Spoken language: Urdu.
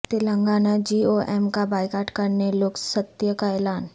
تلنگانہ جی او ایم کا بایئکاٹ کرنے لوک ستہ کا اعلان